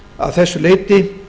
að þessu leyti